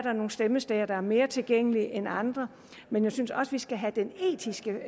stemmesteder der er mere tilgængelige end andre men jeg synes også vi skal have den etiske